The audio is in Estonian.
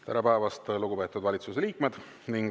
Tere päevast, lugupeetud valitsuse liikmed!